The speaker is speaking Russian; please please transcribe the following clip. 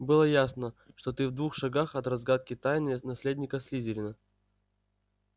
было ясно что ты в двух шагах от разгадки тайны наследника слизерина